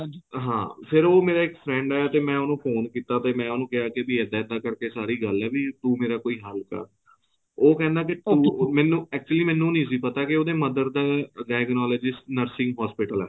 ਹਾਂ ਫੇਰ ਉਹ ਮੇਰਾ ਇੱਕ friend ਹੈ ਤੇ ਮੈਂ ਉਹਨੂੰ phone ਕੀਤਾ ਤੇ ਮੈਂ ਉਹਨੂੰ ਕਿਹਾ ਕਿ ਏਦਾ ਏਦਾ ਕਰਕੇ ਸਾਰੀ ਗੱਲ ਹੈ ਤੂੰ ਮੇਰਾ ਕੋਈ ਹੱਲ ਕਰ ਉਹ ਕਹਿੰਦਾ ਕਿ ਤੂੰ ਮੈਨੂੰ actually ਮੈਨੂੰ ਨਹੀਂ ਸੀ ਪਤਾ ਕਿ ਉਹਦੇ mother ਦਾ diagonalysis nursing hospital ਹੈ